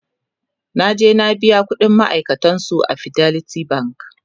naje na biya ƙuɗin makarantan su a fidelity bank